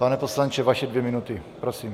Pane poslanče, vaše dvě minuty, prosím.